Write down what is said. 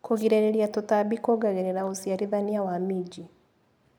Kũgirĩrĩria tũtambi kuongagĩrĩra ũciarithania wa minji.